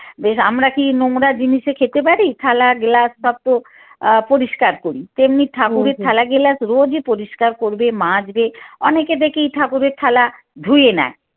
বেশ আমরা কী নোংরা জিনিসে খেতে পারি? থালা glass পত্র আহ পরিস্কার করি তেমনি ঠাকুরের থালা গেলাস রোজই পরিস্কার করবে মাজবে অনেকে দেখি ঠাকুরের থালা ধয়েই না